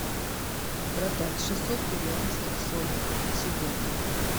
продать шестьсот перуанских солей сегодня